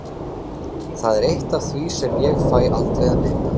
Það er eitt af því sem ég fæ aldrei að vita.